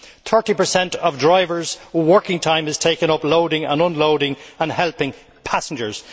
Thirty per cent of drivers' working time is taken up loading and unloading and helping passengers.